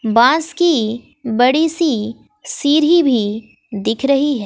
बास की बड़ी सी सीढ़ी भी दिख रही है।